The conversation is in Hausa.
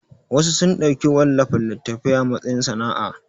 Wasu sun ɗauki wallafa littatafai a matsayin sana'a